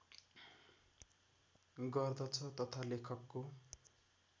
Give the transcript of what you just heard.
गर्दछ तथा लेखकको